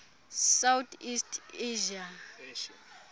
south east asia